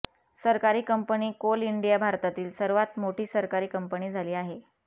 सरकारी company Coal India भारतातील सर्वात मोठी सरकारी कंपनी झाली आहे